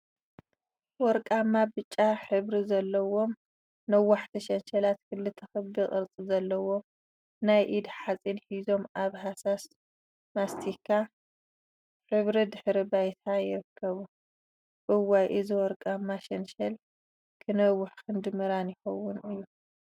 ወርቃማ ብጫ ሕብሪዘለዎም ነዋሕቲ ሸንሸላት ክልተ ክቢ ቅርፂ ዘለዎም ናይ ኢድ ሓፂን ሒዞም አብ ሃሳስ ማስቲካ ሕብሪ ድሕረ ባይታ ይርከቡ፡፡ እዋይ! እዚ ወርቃማ ሸንሸል ክነውሕ ክንዲ ምራን ይኸውን እዩ፡፡